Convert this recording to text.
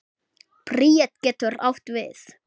Bríet getur átt við